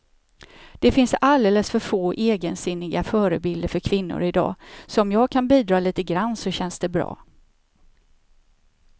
Det finns alldeles för få egensinniga förebilder för kvinnor i dag, så om jag kan bidra lite grann så känns det bra.